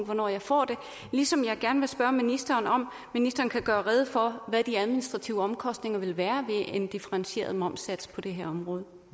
hvornår jeg får det ligesom jeg gerne vil spørge ministeren om ministeren kan gøre rede for hvad de administrative omkostninger vil være ved en differentieret momssats på det her område